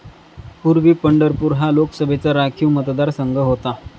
पूर्वी पंढरपूर हा लोकसभेचा राखीव मतदारसंघ होता.